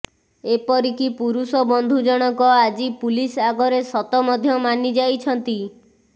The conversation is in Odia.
ଏପରିକି ପୁରୁଷ ବନ୍ଧୁ ଜଣକ ଆଜି ପୁଲିସ ଆଗରେ ସତ ମଧ୍ୟ ମାନି ଯାଇଛନ୍ତି